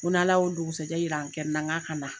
N ko n'Ala ye o dugusɛ jɛ yira an kɛnɛ na k'a ka na.